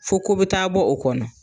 Fo ko bɛ taa bɔ o kɔnɔ.